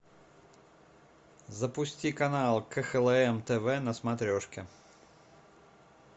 запусти канал кхлм тв на смотрешке